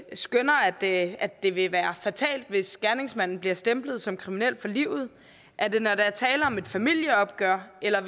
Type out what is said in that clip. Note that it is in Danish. skønner at at det vil være fatalt hvis gerningsmanden bliver stemplet som kriminel for livet er det når der er tale om et familieopgør eller